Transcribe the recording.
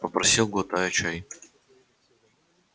попросил глотая чай